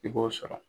I b'o sɔrɔ